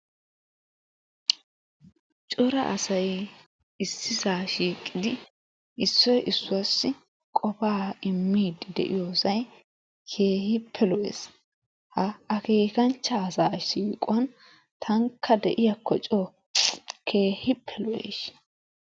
Cora asayi issisaa shiiqidi issoyi issuwaassi qofaa immiiddi de7iyoosayi keehippe lo7es. Ha akeekanchcha asaa siiquwan taanikka de7iyaakko coo keehippe lo7es.